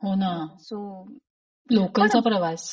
होण. सो लोकलचा प्रवास.